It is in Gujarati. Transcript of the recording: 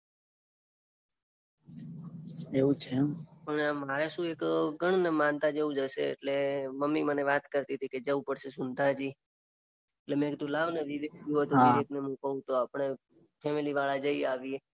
એવું છે એમ. પણ મારે શું એક ગણને માનતા જેવુ જ હશે, મમ્મી મને વાત કારતીતી જવું જ પડસે શુનતાજી. મે કીધું લાવને વિવેકને મે કઉ તો આપણે ફેમિલી વાળા જઈ આવીએ. એવું છે એમ.